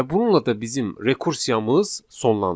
Və bununla da bizim rekursiyamız sonlanır.